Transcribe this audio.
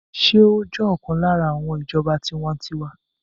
Ṣé ó jẹ́ ọ̀kan lára àwọn ti ìjọba tiwańtiwa?